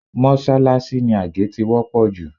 Mọ́ṣáláṣí ni àgé ti wọ́pọ̀ jù